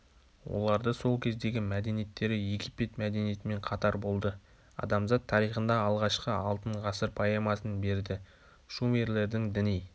оларды сол кездегі мәдениеттері египет мәдениетімен қатар болды адамзат тарихында алғашқы алтын ғасыр поэмасын берді шумерлердің діни